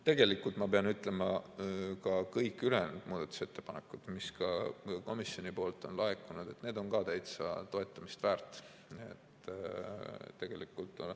Tegelikult, ma pean ütlema, ka kõik ülejäänud muudatusettepanekud, mis komisjonilt on laekunud, on täitsa toetamist väärt.